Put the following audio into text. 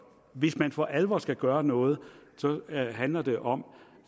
hvis man for alvor skal gøre noget handler det om